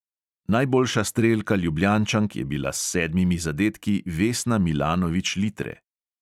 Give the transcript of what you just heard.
Najboljša strelka ljubljančank je bila s sedmimi zadetki vesna milanović litre.